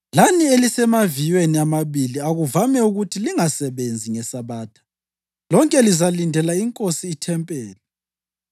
lani elisemaviyweni amabili okuvame ukuthi lingasebenzi ngeSabatha, lonke lizalindela inkosi ithempeli.